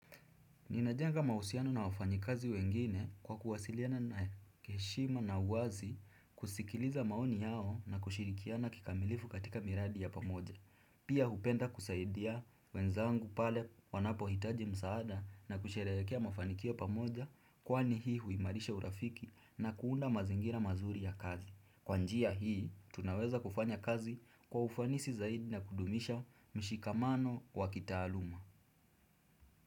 Ninajenga mahusiano na wafanyi kazi wengine kwa kuwasiliana na kiheshima na uwazi kusikiliza maoni yao na kushirikiana kikamilifu katika miradi ya pamoja. Pia hupenda kusaidia wenzangu pale wanapo hitaji msaada na kusherehekea mafanikio pamoja kwa ni hii huimarisha urafiki na kuunda mazingira mazuri ya kazi. Kwa njia hii, tunaweza kufanya kazi kwa ufanisi zaidi na kudumisha mshikamano wa kitaaluma.